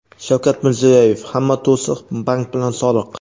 Shavkat Mirziyoyev: "Hamma to‘siq — bank bilan soliq".